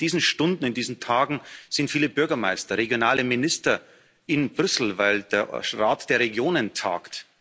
In diesen Stunden, in diesen Tagen sind viele Bürgermeister, regionale Minister in Brüssel, weil der Ausschuss der Regionen tagt.